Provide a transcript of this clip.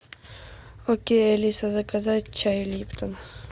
окей алиса заказать чай липтон